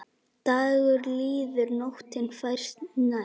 Dagur líður, nóttin færist nær.